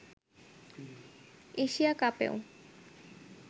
Asia কাপেও